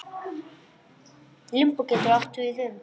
Limbó getur átt við um